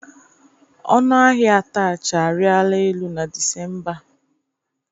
Ọnụ ahia atachị arịla elu na Disemba a.